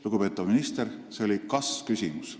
Lugupeetav minister, see oli kas-küsimus.